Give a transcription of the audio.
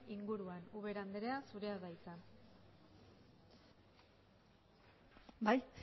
inguruan ubeda andrea zurea da hitza bai